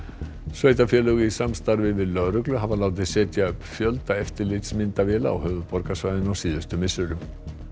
sveitarfélög í samstarfi við lögreglu hafa látið setja upp fjölda eftirlitsmyndavéla á höfuðborgarsvæðinu á síðustu misserum